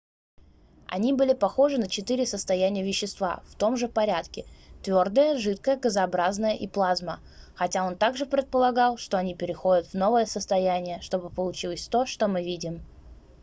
они были похожи на четыре состояния вещества в том же порядке: твердое жидкое газообразное и плазма хотя он также предполагал что они переходят в новое состояние чтобы получилось то что мы видим